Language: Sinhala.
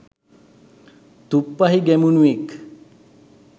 තුප්පහි ගැමුණුවෙක්